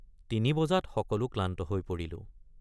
তিনি বজাত সকলো ক্লান্ত হৈ পৰিলো।